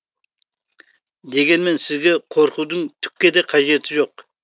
дегенмен сізге қорқудың түкке де қажеті жоқ